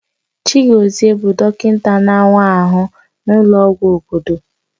Chaigozie bụ dọkịta na-awa ahụ n'ụlọọgwụ obodo.